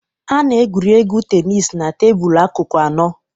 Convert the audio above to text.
A na-egwuri egwu tenis na tebụl akụkụ anọ.